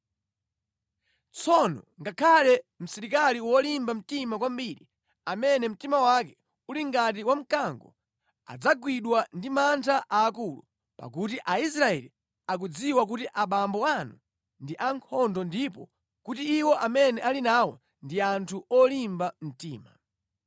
Tsono ngakhale msilikali wolimba mtima kwambiri, amene mtima wake uli ngati wa mkango, adzagwidwa ndi mantha aakulu pakuti Aisraeli akudziwa kuti abambo anu ndi ankhondo ndipo kuti iwo amene ali nawo ndi anthu olimba mtima.